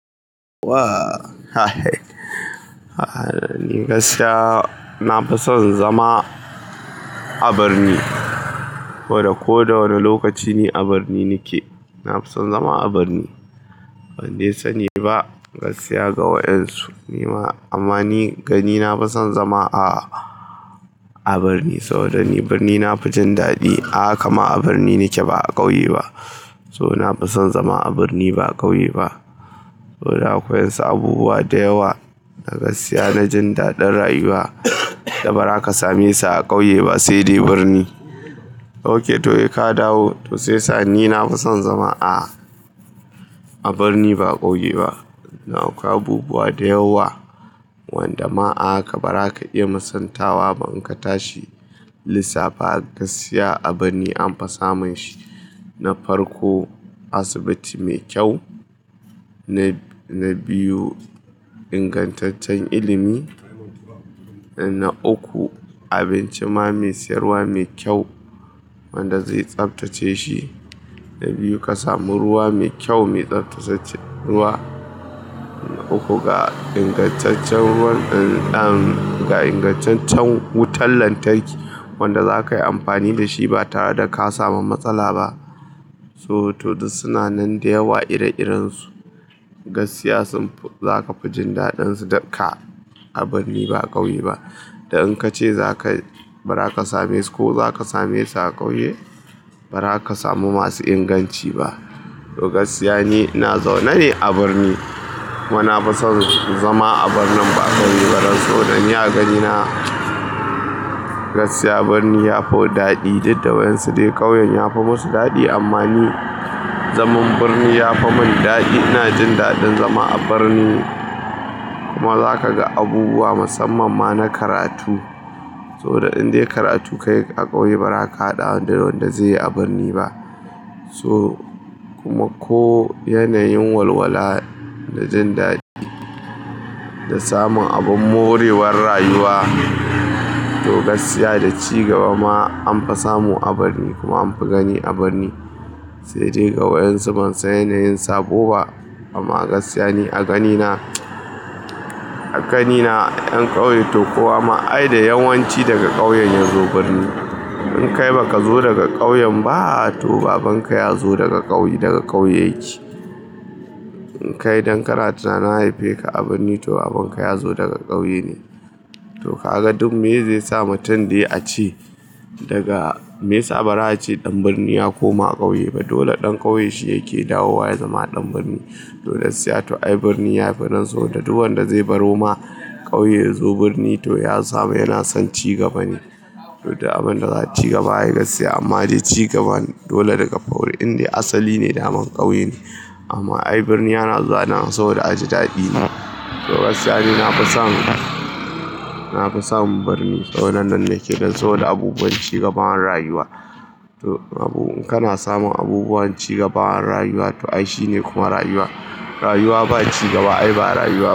Wa ni gaskiya na fi son zama a birni. Saboda ko da wane lokaci ni a birni nake. Na fi son zama a birni. Ban dai sani ba gaskiya ga wayansu. Ni ma amma ni gani na fi son zama a birni saboda ni birni na fi jin daɗi. A kama a birni nake ba a ƙauye ba. So na fi son zama a birni ba ƙauye ba. Saboda akwai wasu abubuwa da yawa da gaskiya na jin daɗin rayuwa da ba za ka same su a ƙauye ba saidai birni. Ok, to sai ka dawo. To sai sa ni na fi son zama a birni ba ƙauye ba. Dan akwai abubuwa da yawa, wanda ma a haka baza ka iya musaltawa ba in ka tashi lissafa gaskiya a birni an fi samun shi. Na farko asibiti mai kyau, na biyu ingantaccen ilimi, na uku abinci ma mai sayarwa mai kyau wanda zai tsabtace shi. Na biyu ka samu ruwa mai kyau, mai tsabtace ruwa. Na uku ga ingantaccen ruwan ɗan ga ingantaccen wutar lantarki wanda za ka yi amfani da shi ba tare da ka samu matsala ba. So to duk suna nan da yawa ire irensu. Gaskiya sun fi za ka fi jin daɗin su da ka a birni ba ƙauye ba. Da in ka ce za ka bari ka same su ko za ka same su a ƙauye, ba za ka samu masu inganci ba. To gaskiya ni ina zaune ne a birni kuma na fi son zama a birnin ba ƙauye ba. Don saboda ni a ganina gaskiya birni ya fi daɗi. Duk da wayansu dai ƙauyen ya fi masu daɗi amma ni zaman birni ya fi mun daɗi. Ina jin daɗin zama a birni kuma za ka ga abubuwa musamman ma na karatu. Saboda in dai karatu ka yi a ƙauye ba za ka haɗa da wanda zai yi a birni ba. So kuma ko yanayin walwala da jin daɗi da samun abin morewar rayuwa to gaskiya da cigaba ma an fa samu a birni kuma an fi gani a birni. Saidai ga wayansu ban san yanayin sabo ba amma gaskiya ni a ganina, a ganina 'yan ƙauye to kowa ma ai da yawanci daga ƙauyen ya zo birni. In kai baka zo daga ƙauyen ba to babanka ya zo daga ƙauye, daga ƙauye yake. In kai don kana tunanin an haife ka a birni to babanka ya zo daga ƙauye ne. To ka ga duk meye zai sa mutum dai a ce daga me ya sa ba za a ce ɗan birni ya koma ƙauye ba dole ɗan ƙauye shi yake dawowa ya zama ɗan birni. Dole sai to ai birni ya fi nan so da duk wanda zai baro ma ƙauye ya zo birni to ya samu yana son cigaba ne. To du abin da za cigaba ai gaskiya amma dai cigaban dole daga faurin dai asali ne daman ƙauye ne. Amma ai birni yana zana saboda ajadaɗi ne. To gaskiya ni na fi son, na fi son birni. Saboda nan nake don so da abubuwan cigaban rayuwa. To abu in kana samun abubuwan cigaban rayuwa to ai shi ne kuma rayuwa. Rayuwa ba cigaba ai ba rayuwa.